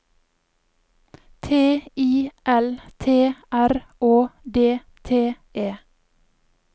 T I L T R Å D T E